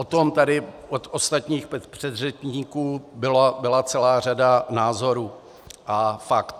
O tom tady od ostatních předřečníků byla celá řada názorů a faktů.